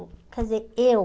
Quer dizer, eu...